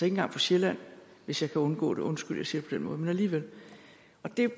engang på sjælland hvis jeg kan undgå det undskyld jeg siger det på den måde men alligevel